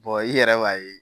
i yɛrɛ b'a ye